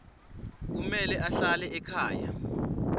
kumele ahlale ekhaya